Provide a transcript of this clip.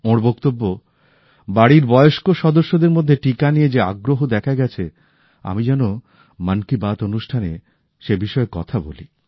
ওঁর বক্তব্য বাড়ির বয়স্ক সদস্যদের মধ্যে টিকা নিয়ে যে আগ্রহ দেখা গেছে আমি যেন মন কি বাত অনুষ্ঠানে সেই বিষয়ে কথা বলি